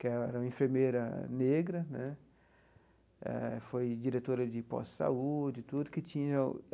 que era uma enfermeira negra né, eh foi diretora de posto de saúde tudo que tinha o.